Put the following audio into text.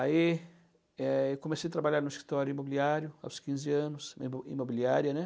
Aí eu comecei a trabalhar no escritório imobiliário aos quinze anos, imo, imobiliária, né?